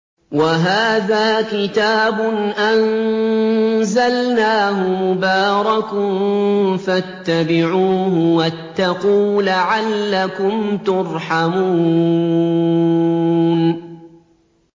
وَهَٰذَا كِتَابٌ أَنزَلْنَاهُ مُبَارَكٌ فَاتَّبِعُوهُ وَاتَّقُوا لَعَلَّكُمْ تُرْحَمُونَ